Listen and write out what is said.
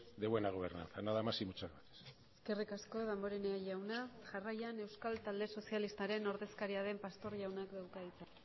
de buena gobernanza nada más y muchas gracias eskerrik asko damborenea jauna jarraian euskal talde sozialistaren ordezkaria den pastor jaunak dauka hitza